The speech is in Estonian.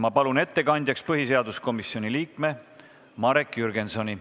Ma palun ettekandjaks põhiseaduskomisjoni liikme Marek Jürgensoni.